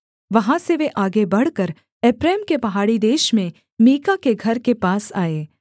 वहाँ से वे आगे बढ़कर एप्रैम के पहाड़ी देश में मीका के घर के पास आए